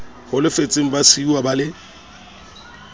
holofetseng ba siuwa ba le